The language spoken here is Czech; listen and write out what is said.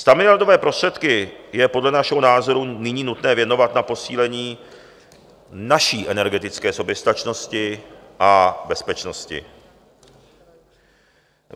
Stamiliardové prostředky je podle našeho názoru nyní nutné věnovat na posílení naší energetické soběstačnosti a bezpečnosti.